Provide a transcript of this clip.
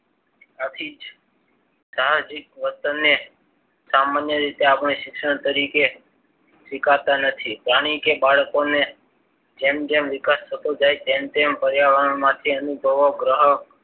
એ સાહસિક વર્તનને સામાન્ય રીતે આપણે શિક્ષણ તરીકે સ્વીકારતા નથી. પ્રાણી કે બાળકોને જેમ જેમ વિકાસ થતો જાય છે. તેમ તેમ પર્યાવરણમાંથી અનુભવો ગ્રહણ